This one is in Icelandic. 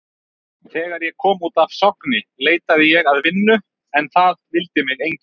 Þegar ég kom út af Sogni leitaði ég að vinnu en það vildi mig enginn.